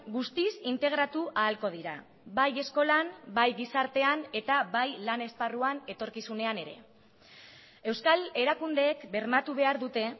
guztiz integratu ahalko dira bai eskolan bai gizartean eta bai lan esparruan etorkizunean ere euskal erakundeek bermatu behar dute